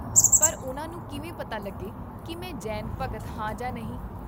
ਪਰ ਉਨ੍ਹਾਂ ਨੂੰ ਕਿਵੇਂ ਪਤਾ ਲੱਗੇ ਕੀ ਮੈਂ ਜੈਨ ਭਗਤ ਹਾਂ ਜਾਂ ਨਹੀਂ?